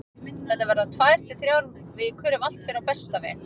Þetta verða tvær til þrjár vikur ef allt fer á besta veg.